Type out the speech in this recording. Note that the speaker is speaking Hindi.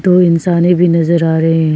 दो इंसाने भी नजर आ रहे --